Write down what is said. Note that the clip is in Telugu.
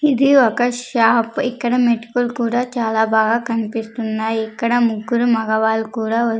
ఇది ఒక షాప్ ఇక్కడ మెట్కుల్ కూడా చాలా బాగా కన్పిస్తున్నాయి ఇక్కడ ముగ్గురు మగవాళ్ళు కూడా--